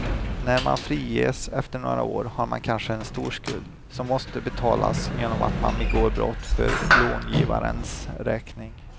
När man friges efter några år har man kanske en stor skuld, som måste betalas genom att man begår brott för långivarens räkning.